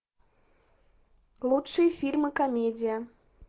лучшие фильмы комедия